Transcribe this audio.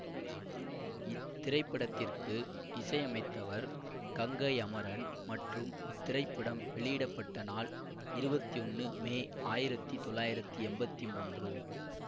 இத்திரைப்படத்திற்கு இசையமைத்தவர் கங்கை அமரன் மற்றும் இத்திரைப்படம் வெளியிட பட்ட நாள் இருவத்தி ஒன்னு மே ஆயிரத்தி தொள்ளாயிரத்தி எம்பத்தி மூன்று